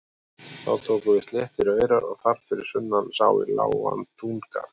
Þá tóku við sléttir aurar og þar fyrir sunnan sá í lágan túngarð.